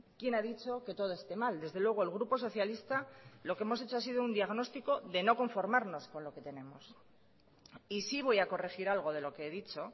quién ha dicho que todo esté mal desde luego el grupo socialista lo que hemos hecho ha sido un diagnóstico de no conformarnos con lo que tenemos y sí voy a corregir algo de lo que he dicho